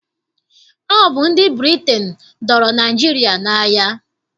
Ọ bụ ndị Britain dọọrọ Naịjirịa n'agha.